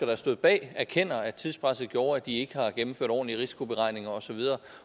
der stod bag erkender at tidspresset gjorde at de ikke har gennemført ordentlige risikoberegninger osv